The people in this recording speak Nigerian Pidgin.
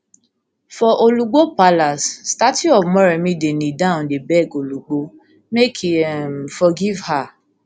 for olugbo palace statue of moremi dey kneel down dey beg olugbo make e um forgive her